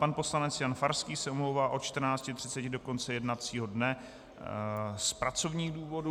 Pan poslanec Jan Farský se omlouvá od 14.30 do konce jednacího dne z pracovních důvodů.